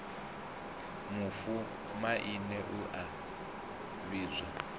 mufu maine u a vhidzwa